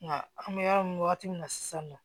Nka an bɛ yɔrɔ min wagati min na sisan nɔ